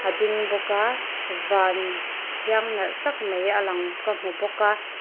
a ding bawk a van thiang nalh tak mai a lang ka hmu bawk a.